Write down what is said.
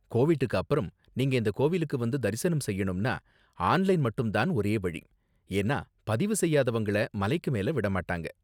கோவிட்க்கு அப்பறம், நீங்க இந்த கோவிலுக்கு வந்து தரிசனம் செய்யணும்னா ஆன்லைன் மட்டும் தான் ஒரே வழி, ஏன்னா பதிவு செய்யாதவங்கள மலைக்கு மேல விட மாட்டாங்க.